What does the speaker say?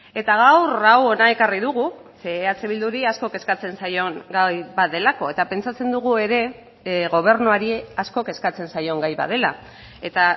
eta gaur hau hona ekarri dugu ze eh bilduri asko kezkatzen zaion gai bat delako eta pentsatzen dugu ere gobernuari asko kezkatzen zaion gai bat dela eta